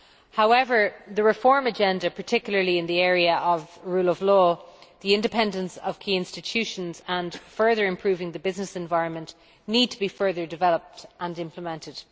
However, the reform agenda, particularly in the areas of the rule of law, the independence of key institutions and further improving the business environment need to be further developed and implemented.